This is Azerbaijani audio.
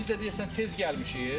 Biz də deyirsən tez gəlmişik.